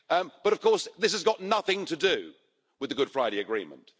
But of course, this has got nothing to do with the Good Friday Agreement.